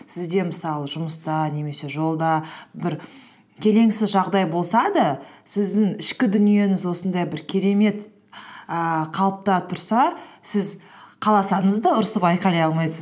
сізде мысалы жұмыста немесе жолда бір келеңсіз жағдай болса да сіздің ішкі дүниеңіз осындай бір керемет ііі қалыпта тұрса сіз қаласаңыз да ұрысып айқайлай алмайсыз